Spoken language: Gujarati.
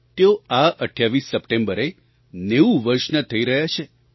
તેઓ આ 28 સપ્ટેમ્બરે 90 વર્ષનાં થઈ રહ્યાં છે